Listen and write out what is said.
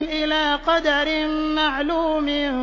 إِلَىٰ قَدَرٍ مَّعْلُومٍ